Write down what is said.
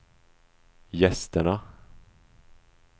gästerna